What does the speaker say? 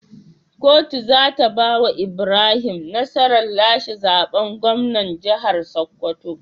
Kuto zata bawa Ibrahim nasarar lashe zaben gwamnan jahar sokoto